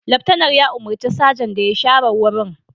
Laftanar ya umurci sajan da ya share wurin